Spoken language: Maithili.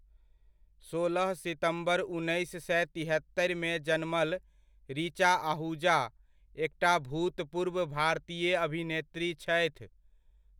सोलह सितम्बर उन्नैस सए तिहत्तरिमे जन्मल, ऋचा आहुजा, एकटा भूतपूर्व भारतीय अभिनेत्री छथि।